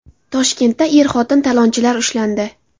Toshkentda er-xotin talonchilar ushlandi.